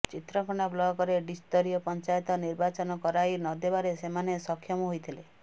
ଚିତ୍ରକୋଣ୍ଡା ବ୍ଲକରେ ତ୍ରିସ୍ତରୀୟ ପଞ୍ଚାୟତ ନିର୍ବାଚନ କରାଇ ନଦେବାରେ ସେମାନେ ସକ୍ଷମ ହୋଇଥିଲେ